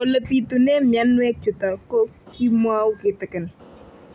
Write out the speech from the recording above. Ole pitune mionwek chutok ko kimwau kitig'�n